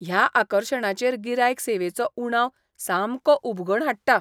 ह्या आकर्शणाचेर गिरायक सेवेचो उणाव सामको उबगण हाडटा.